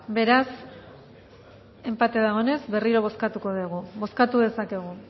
beraz enpate dagoenez berriro bozkatuko dugu bozkatu dezakegu